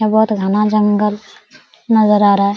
ये बहोत घना जंगल नजर आ रहा है।